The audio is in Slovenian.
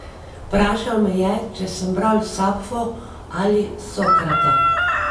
Vprašal me je, če sem bral Sapfo ali Sokrata.